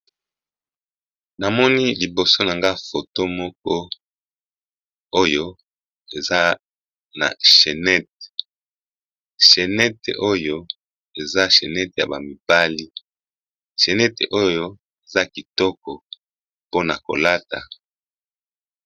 Namoni liboso na nga foto moko oyo eza na chenete chenete oyo eza chenete ya bamibali chenete oyo eza kitoko mpona kolata.